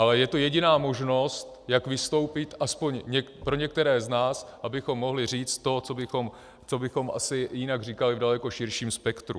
Ale je to jediná možnost, jak vystoupit, aspoň pro některé z nás, abychom mohli říct to, co bychom asi jinak říkali v daleko širším spektru.